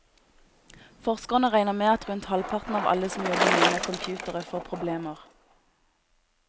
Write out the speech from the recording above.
Forskerne regner med at rundt halvparten av alle som jobber mye med computere får problemer.